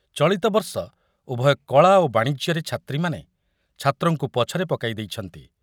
ଚଳିତ ବର୍ଷ ଉଭୟ କଳା ଓ ବାଣିଜ୍ୟରେ ଛାତ୍ରୀମାନେ ଛାତ୍ରଙ୍କୁ ପଛରେ ପକାଇ ଦେଇଛନ୍ତି ।